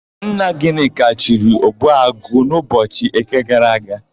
Nna Gịnịka chiri, Ogbuagụ n'ụbọchị Eke gara aga.